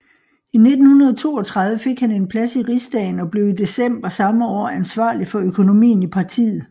I 1932 fik han en plads i rigsdagen og blev i december samme år ansvarlig for økonomien i partiet